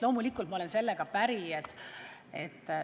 Loomulikult olen ma sellega päri.